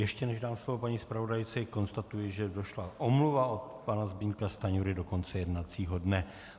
Ještě než dám slovo paní zpravodajce, konstatuji, že došla omluva od pana Zbyňka Stanjury do konce jednacího dne.